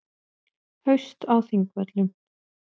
Haust á Þingvöllum.